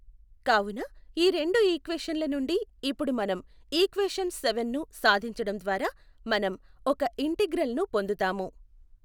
కావున ఈ రెండు ఈక్వేషన్ ల నుండి ఇప్పుడు మనం ఈక్వేషన్ సెవెన్ ను సాధించడం ద్వారా మనం ఒక ఇంటిగ్రల్ ను పొందుతాము.